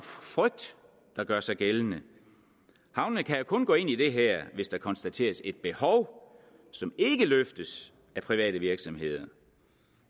frygt der gør sig gældende havnene kan jo kun gå ind i det her hvis der konstateres et behov som ikke løftes af private virksomheder